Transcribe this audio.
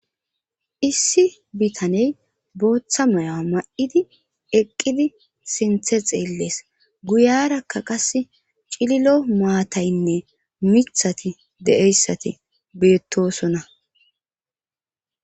Issi bitaney booththa maya ma7idi eqqidi sinthe xeellees guyarakka qas cililo maataynne mithati de7eyssati beettosona